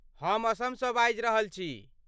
हम असमसँ बाजि रहल छी।